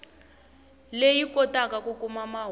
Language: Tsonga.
leyi kotaka ku kuma mahungu